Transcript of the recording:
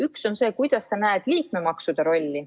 Üks on see, millisena sa näed liikmemaksude rolli.